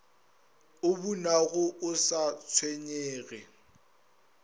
o bunago o sa tshwenyege